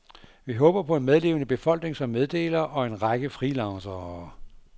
Vi håber på en medlevende befolkning som meddelere og en række freelancere.